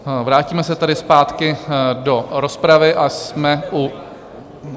Vrátíme se tady zpátky do rozpravy a jsme u...